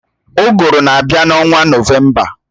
Uguru na-abịa n'ọnwa nọvemba